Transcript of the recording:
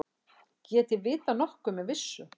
Get ég vitað nokkuð með vissu?